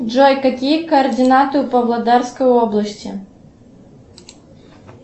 джой какие координаты у павлодарской области